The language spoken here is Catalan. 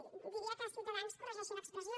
sí que diria que ciutadans corregeixi l’expressió